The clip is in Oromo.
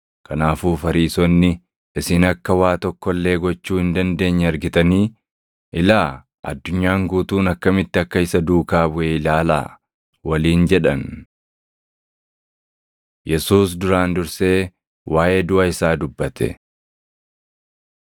Kanaafuu Fariisonni, “Isin akka waa tokko illee gochuu hin dandeenye argitanii? Ilaa, addunyaan guutuun akkamitti akka isa duukaa buʼe ilaalaa!” waliin jedhan. Yesuus Duraan Dursee Waaʼee Duʼa Isaa Dubbate